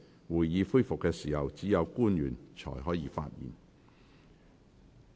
會議恢復時，只有官員才可發言。